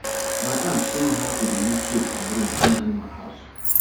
my aunt show me how to dey use soap and broom clean animal house